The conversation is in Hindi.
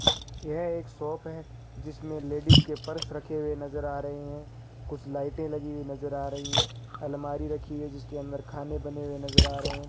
यह एक शॉप है जिसमें लेडीज के पर्स रखे हुए नज़र आ रहे हैं कुछ लाइटें लगी हुई नज़र आ रही है अलमारी रखी हुई है जिसके अंदर खाने बने हुए नज़र आ रहे हैं।